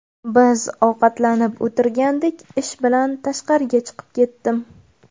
Biz ovqatlanib o‘tirgandik, ish bilan tashqariga chiqib ketdim.